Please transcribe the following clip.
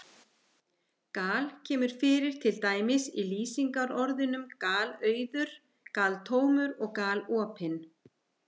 Gal- kemur fyrir til dæmis í lýsingarorðunum galauður, galtómur og galopinn.